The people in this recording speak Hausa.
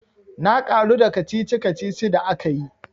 Na karu da kacici kacici da akayi.